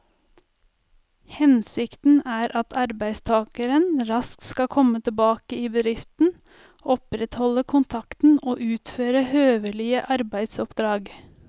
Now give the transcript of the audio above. Hensikten er at arbeidstakeren raskt skal komme tilbake i bedriften, opprettholde kontakten og utføre høvelige arbeidsoppdrag.